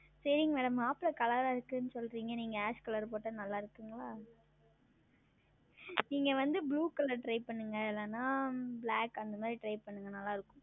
சரிங்கள் Color மாப்பிளை Color ஆ இருக்கும் என்று சொல்லுகிறீர்கள் நீங்கள் As Color உடுத்தினால் நன்றாக இருக்குமா நீங்கள் வந்து Blue ColorTry செய்து பாருங்களேன் இல்லை என்றால் Black அந்த மாதிரி Try செய்யுங்கள் நன்றாக இருக்கும்